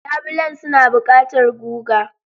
Labulen suna buƙatar guga.